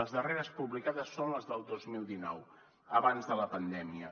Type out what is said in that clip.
les darreres publicades són les del dos mil dinou abans de la pandèmia